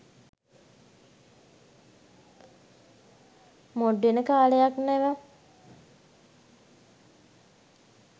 mode වෙන කාලයක් නෙව